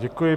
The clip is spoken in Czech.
Děkuji.